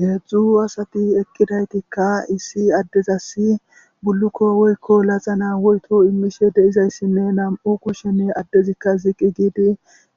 heedzdzu asati eqqidaytikka issi addezasi bullukko woykko laxana woyto immishe deizayssinne nam'u kushsheni addezikka ziqi giidi